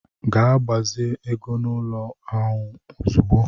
Ga gbazi ego n'ụlọ ahụ ahụ ozugbo!